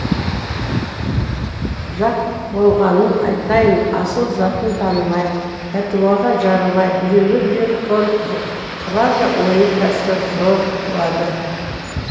жақ болғанын айтайын асыл затын танымай пәтуаға жарымай біреуге біреу тор құрды ойы пәсті зор қылды